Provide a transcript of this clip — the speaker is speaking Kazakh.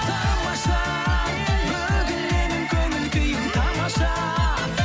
тамаша бүгін менің көңіл күйім тамаша